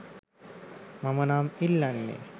මම නම් ඉල්ලන්නේ